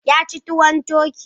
Ya ci tuwon turkey.